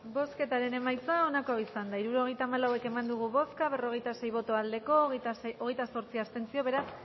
bozketaren emaitza onako izan da hirurogeita hamalau eman dugu bozka berrogeita sei boto aldekoa hogeita zortzi abstentzio beraz